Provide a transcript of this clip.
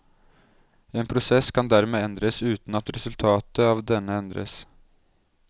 En prosess kan dermed endres uten at resultatet av denne endres.